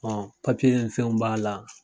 ni fɛnw b'a la